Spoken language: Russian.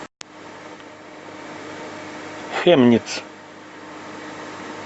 хемниц